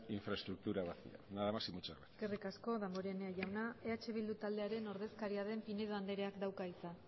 infraestructura vacía nada más y muchas gracias eskerrik asko danborenea jauna eh bildu taldearen ordezkaria den pinedo andereak dauka hitza